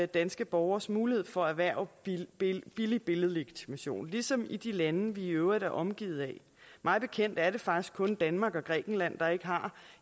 danske borgeres mulighed for at erhverve billig billig billedlegitimation ligesom i de lande vi i øvrigt er omgivet af mig bekendt er det faktisk kun danmark og grækenland der ikke har